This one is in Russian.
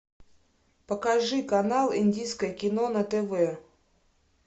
покажи канал индийское кино на тв